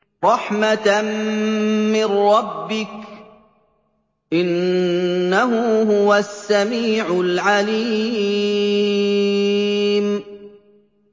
رَحْمَةً مِّن رَّبِّكَ ۚ إِنَّهُ هُوَ السَّمِيعُ الْعَلِيمُ